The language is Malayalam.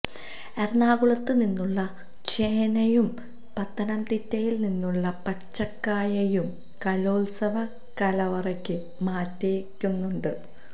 എറണാകുളത്ത് നിന്നുള്ള ചേനയും പത്തനംതിട്ടയില് നിന്നുള്ള പച്ചക്കായയും കലോത്സവ കലവറക്ക് മാറ്റേകുന്നുണ്ട്